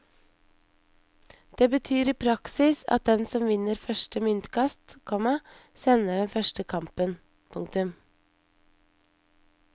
Det betyr i praksis at den som vinner første myntkast, komma sender den første kampen. punktum